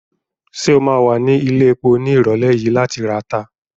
Ṣé o ma wà ní ilẹ̀epo ní ìrọ̀lẹ́ yìí láti rata?